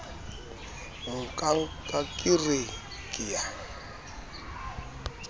nka ka re ke a